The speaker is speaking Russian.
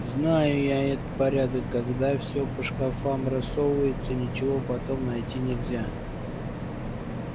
знаю я этот порядок когда все по шкафам рассовывается и ничего потом найти нельзя